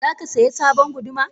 Zakasaya sabon guduma?